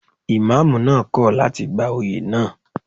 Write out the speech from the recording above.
Ìmámúù náà kò láti gba oyè náà.